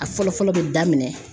A fɔlɔ fɔlɔ bɛ daminɛn